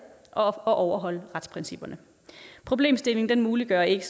og overholde retsprincipperne problemstillingen muliggør ikke